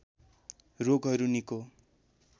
रोगहरू निको